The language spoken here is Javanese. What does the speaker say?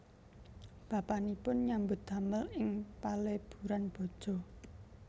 Bapanipun nyambut damel ing paleburan baja